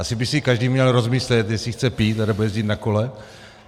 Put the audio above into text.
Asi by si každý měl rozmyslet, jestli chce pít, anebo jezdit na kole.